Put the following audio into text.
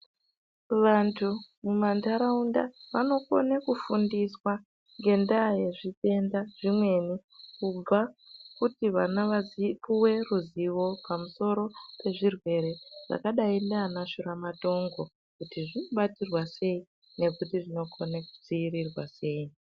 Vantu mumantaraunda vanokone kufundiswa ngendaa yezvitenda zvimweni kubva kuti vana vapuwe ruzivo pamusoro pezvirwere zvakadai ndiana shuramatongo kuti zvinobatsirwa sei nekuti zvinokone kudziirirwa sei.